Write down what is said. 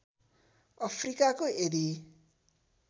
अफ्रिकाको यदि